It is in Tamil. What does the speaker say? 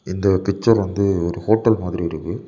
இந்த கிச்சன் வந்து ஒரு ஹோட்டல் மாதிரி இருக்கு.